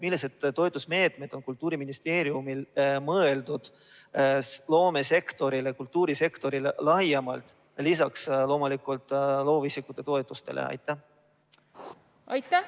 Millised toetusmeetmed on Kultuuriministeeriumil mõeldud loomesektorile ja kultuurisektorile laiemalt, lisaks loomulikult loovisikute toetustele?